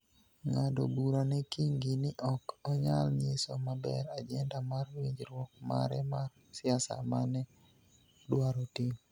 ng�ado bura ne Kingi ni ok onyal nyiso maber ajenda mar winjruok mare mar siasa ma ne odwaro timo.